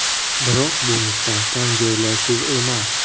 Biroq bu mustahkam joylashuv emas.